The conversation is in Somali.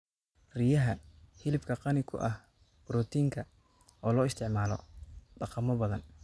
Riyaha: Hilibka qani ku ah borotiinka, oo loo isticmaalo dhaqamo badan.